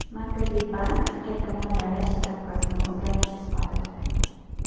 Markaziy bank qayta moliyalash stavkasini o‘zgarishsiz qoldirdi.